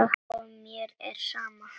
Og mér er sama.